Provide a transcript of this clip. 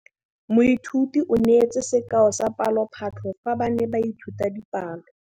Moithuti o neetse sekaô sa palophatlo fa ba ne ba ithuta dipalo.